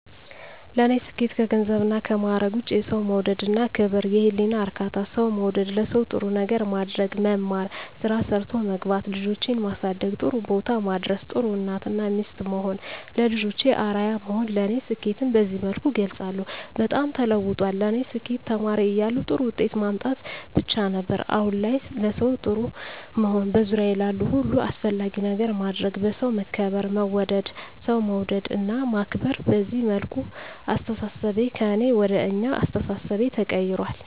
ለኔ ስኬት ከገንዘብና ከማዕረግ ውጭ የሠው መውደድ እና ክብር፤ የህሊና እርካታ፤ ሠው መውደድ፤ ለሠው ጥሩ ነገር ማድረግ፤ መማር፤ ስራ ሠርቶ መግባት፤ ልጆቼን ማሠደግ ጥሩቦታ ማድረስ፤ ጥሩ እናት እና ሚስት መሆን፤ ለልጆቼ አርያ መሆን ለኔ ስኬትን በዚህ መልኩ እገልፀዋለሁ። በጣም ተለውጧል ለኔ ስኬት ተማሪ እያለሁ ጥሩ ውጤት ማምጣት ብቻ ነበር። አሁን ላይ ለሠው ጥሩ መሆን፤ በዙሪያዬ ላሉ ሁሉ አስፈላጊ ነገር ማድረግ፤ በሠው መከበር መወደድ፤ ሠው መውደድ እና ማክበር፤ በዚህ መልኩ አስተሣሠቤ ከእኔ ወደ አኛ አስተሣሠቤ ተቀይራል።